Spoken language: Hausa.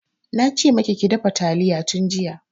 Na ce maki ki dafa talliya tun jiya.